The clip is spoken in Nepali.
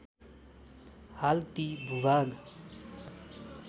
हाल ती भूभाग